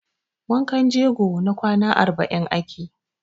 Wankan jego na kwana arba'in ake.